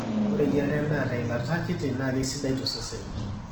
ore eyiarare endaa te ilata kiti naa keisidai tosesen